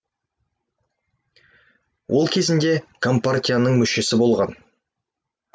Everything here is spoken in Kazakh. ол кезінде компартияның мүшесі болған